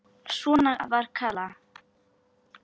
Svona var Kalla.